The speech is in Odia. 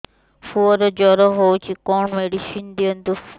ପୁଅର ଜର ହଉଛି କଣ ମେଡିସିନ ଦିଅନ୍ତୁ